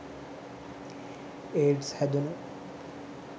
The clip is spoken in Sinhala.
ඒඩ්ස් හැදුණු